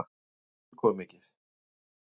Mér þótti það tilkomumikið.